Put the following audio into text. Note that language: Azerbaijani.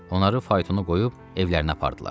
Onları faytona qoyub evlərinə apardılar.